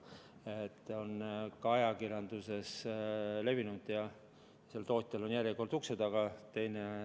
See info on ka ajakirjanduses levinud ja tootjal on järjekord ukse taga.